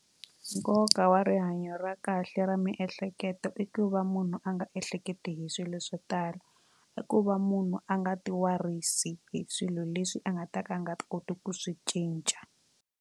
Nkoka wa rihanyo ra kahle ra miehleketo i ku va munhu a nga ehleketi hi swilo swo tala i ku va munhu a nga ti warisi hi swilo leswi a nga ta ka a nga koti ku swi cinca.